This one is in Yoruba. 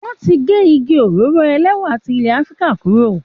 Wọ́n ti gé igi òróró ẹlẹ́wà ti ilẹ̀ Afrika kúrò.